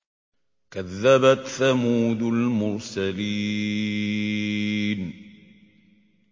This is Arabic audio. كَذَّبَتْ ثَمُودُ الْمُرْسَلِينَ